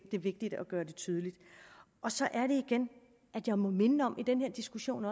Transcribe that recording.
det er vigtigt at gøre det tydeligt så er det igen at jeg må minde om i den her diskussion